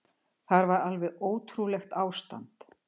Það var alveg ótrúlegt ástand.